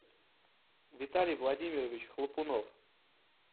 виталий владимирович хлопунов